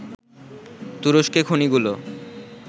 তুরস্কে খনিগুলো